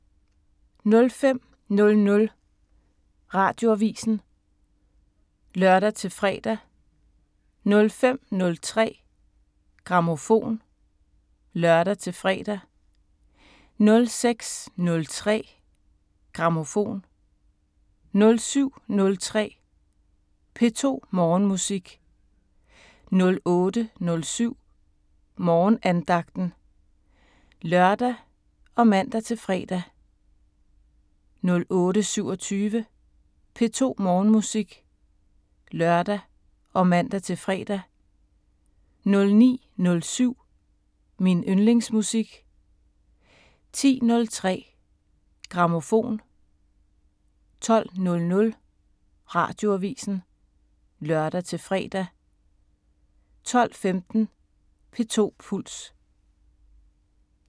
05:00: Radioavisen (lør-fre) 05:03: Grammofon (lør-fre) 06:03: Grammofon 07:03: P2 Morgenmusik 08:07: Morgenandagten (lør og man-fre) 08:27: P2 Morgenmusik (lør og man-fre) 09:07: Min yndlingsmusik 10:03: Grammofon 12:00: Radioavisen (lør-fre) 12:15: P2 Puls